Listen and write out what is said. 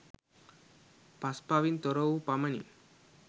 පස්පවින් තොර වූ පමණින්